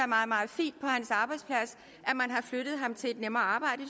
meget meget fint at man har flyttet ham til et nemmere arbejde